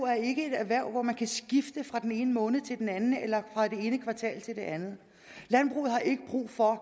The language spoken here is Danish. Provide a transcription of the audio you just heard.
er ikke et erhverv hvor man kan skifte fra den ene måned til den anden eller fra det ene kvartal til det andet landbruget har ikke brug for